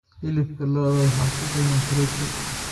Hilibka lo'da waxaa ku badan borotiin.